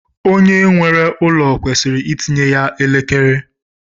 Onye nwere ụlọ kwesịrị itinye ya elekere.